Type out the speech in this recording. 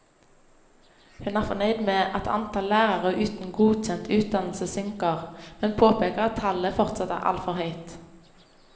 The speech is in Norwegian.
Hun er fornøyd med at antall lærere uten godkjent utdannelse synker, men påpeker at tallet fortsatt er altfor høyt.